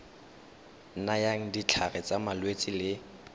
nayang ditlhare tsa malwetse le